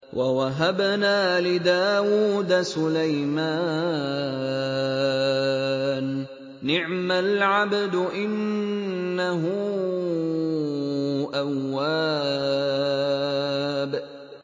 وَوَهَبْنَا لِدَاوُودَ سُلَيْمَانَ ۚ نِعْمَ الْعَبْدُ ۖ إِنَّهُ أَوَّابٌ